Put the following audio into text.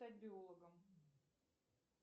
стать биологом